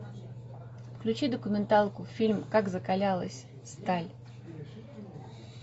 включи документалку фильм как закалялась сталь